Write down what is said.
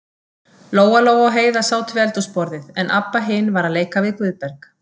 Lóa-Lóa og Heiða sátu við eldhúsborðið, en Abba hin var að leika við Guðberg.